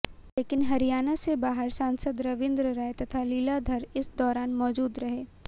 लेकिन हरियाणा से बाहर के सांसद रविंद्र राय तथा लीलाधर इस दौरान मौजूद रहे